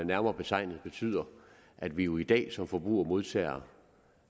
nærmere betegnet betyder at vi jo i dag som forbrugere modtager